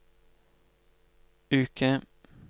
uke